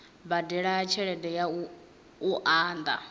badela tshelede ya u unḓa